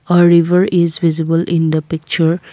uh river is visible in the picture.